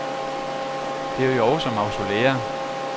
Det er jo også mausolæer.